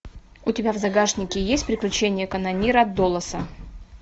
у тебя в загашнике есть приключения канонира доласа